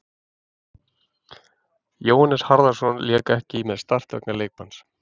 Jóhannes Harðarson lék ekki með Start vegna leikbanns.